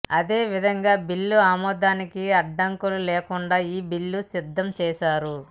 అదే విధంగా బిల్లు ఆమోదా నికి అడ్డంకులు లేకుండా ఈ బిల్లును సిద్దం చేసారు